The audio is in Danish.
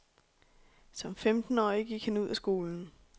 Som femtenårig gik han ud af skolen.